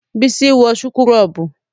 Bísí ń wọ súkúrọ́bù